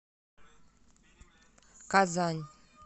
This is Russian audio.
казань